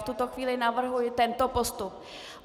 V tuto chvíli navrhuji tento postup.